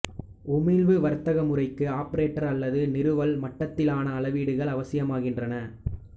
உமிழ்வு வர்த்தக முறைக்கு ஆப்பரேட்டர் அல்லது நிறுவல் மட்டத்திலான அளவீடுகள் அவசியமாகின்றன